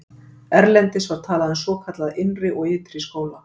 erlendis var talað um svokallaða innri og ytri skóla